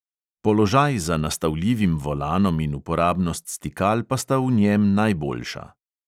Položaj za nastavljivim volanom in uporabnost stikal pa sta v njem najboljša.